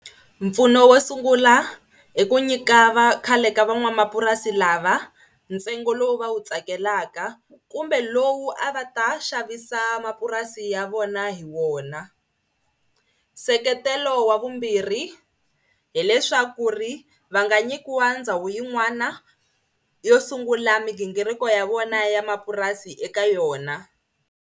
Mpfuno wo sungula i ku nyika va khale ka van'wamapurasi lava ntsengo lowu va wu tsakelaka kumbe lowu a va ta xavisa mapurasi ya vona hi wona. Nseketelo wa vumbirhi hileswaku ri va nga nyikiwa ndhawu yin'wana yo sungula migingiriko ya vona ya mapurasi eka yona.